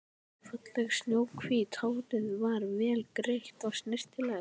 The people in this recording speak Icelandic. Fallegt snjóhvítt hárið var vel greitt og snyrtilegt.